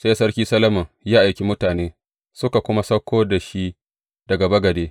Sai Sarki Solomon ya aiki mutane, suka kuma sauko da shi daga bagade.